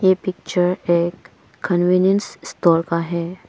Picture एक convenience store का है।